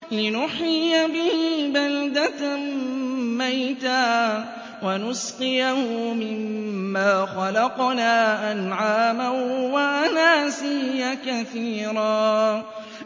لِّنُحْيِيَ بِهِ بَلْدَةً مَّيْتًا وَنُسْقِيَهُ مِمَّا خَلَقْنَا أَنْعَامًا وَأَنَاسِيَّ كَثِيرًا